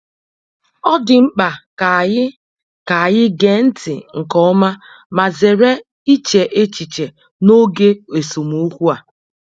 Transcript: Ọ dị mkpa ka anyị ka anyị gee ntị nke ọma ma zere iche echiche n'oge esemokwu a.